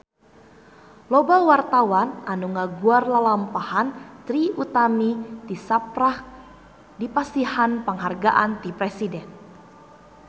Loba wartawan anu ngaguar lalampahan Trie Utami tisaprak dipasihan panghargaan ti Presiden